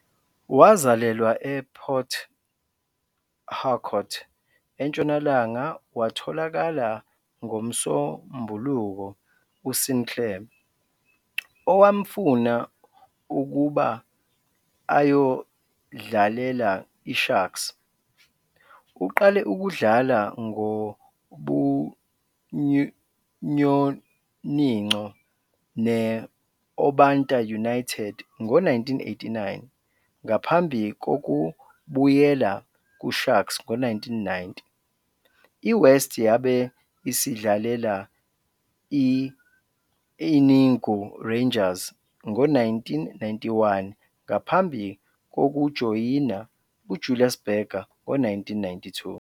Wazalelwa ePort Harcourt, eNtshonalanga watholakala ngoMsombuluko uSinclair, owamfuna ukuba ayodlalela iSharks. Uqale ukudlala ngobunyoninco ne-Obanta United ngo-1989, ngaphambi kokubuyela kuSharks ngo-1990. I-West yabe isidlalela i-Enugu Rangers ngo-1991, ngaphambi kokujoyina uJulius Berger ngo-1992.